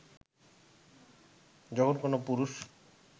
যখন কোনও পুরুষ